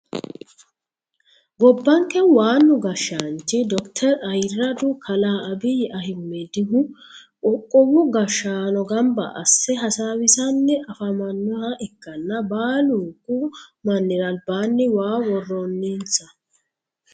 gobbanke waanu gashshaanchi dokiteri ayiiradu kalaa abiyi ahimedihu qoqqowu gashshaano gamba asse hasaawisanni afamannoha ikkanna baalunku mannira albaanni waa worroninsa.